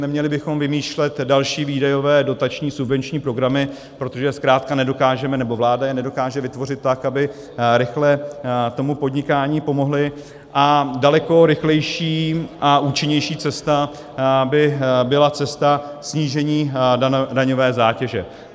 Neměli bychom vymýšlet další výdajové dotační subvenční programy, protože zkrátka nedokážeme, nebo vláda je nedokáže vytvořit tak, aby rychle tomu podnikání pomohly, a daleko rychlejší a účinnější cesta by byla cesta snížení daňové zátěže.